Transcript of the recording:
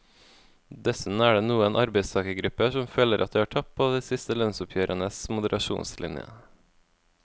Dessuten er det noen arbeidstagergrupper som føler at de har tapt på de siste lønnsoppgjørenes moderasjonslinje.